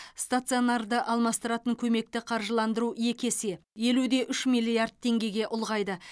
стационарды алмастыратын көмекті қаржыландыру екі есе елу де үш миллиард теңгеге ұлғайды